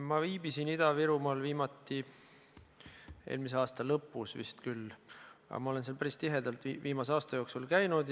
Ma viibisin Ida-Virumaal viimati vist eelmise aasta lõpus, aga ma olen seal üldiselt päris tihedalt käinud.